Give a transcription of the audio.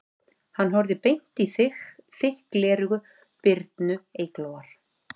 Hann horfði beint í þykk gleraugu Birnu Eyglóar